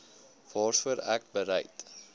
waarvoor ek bereid